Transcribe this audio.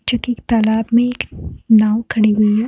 जो की एक तालाब में एक नाव खड़ी हुई है।